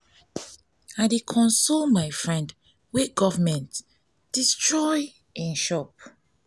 i dey console my friend wey government destroy im shop.